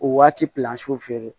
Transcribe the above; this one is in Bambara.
O waati feere